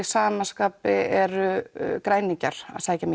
sama skapi eru græningjar að sækja